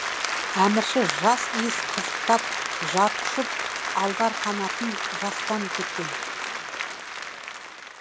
әмірші жас иіс қызықтап жар құшып алдарқанатын жастан кеткен